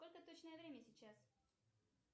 сколько точное время сейчас